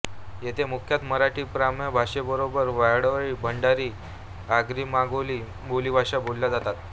येथे मुख्यतः मराठी प्रमाणभाषेबरोबर वाडवळी भंडारी आगरीमांगेली बोलीभाषा बोलल्या जातात